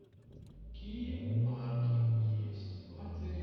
какие парки есть в отеле